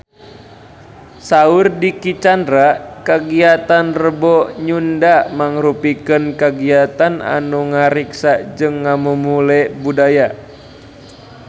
Saur Dicky Chandra kagiatan Rebo Nyunda mangrupikeun kagiatan anu ngariksa jeung ngamumule budaya Sunda